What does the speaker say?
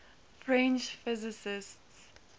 french physicists